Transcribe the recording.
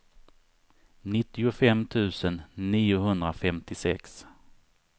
nittiofem tusen niohundrafemtiosex